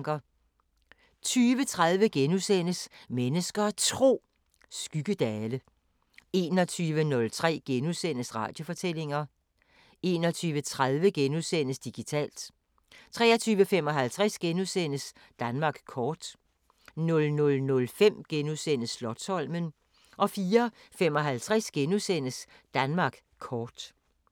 20:30: Mennesker og Tro: Skyggedale * 21:03: Radiofortællinger * 21:30: Digitalt * 23:55: Danmark kort * 00:05: Slotsholmen * 04:55: Danmark kort *